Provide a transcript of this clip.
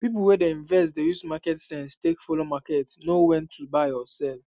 people wey dey invest dey use market sense take follow market know when to buy or sell